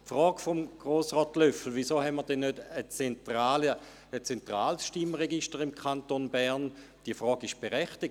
Die Frage von Grossrat Löffel, warum wir nicht ein zentrales Stimmregister hätten, ist berechtigt.